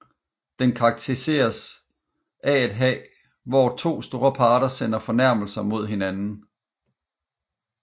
Den karakteriseres af at hvor to parter sender fornærmelser mod hinanden